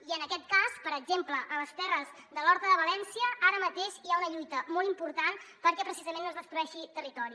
i en aquest cas per exemple a les terres de l’horta de valència ara mateix hi ha una lluita molt important perquè precisament no es destrueixi territori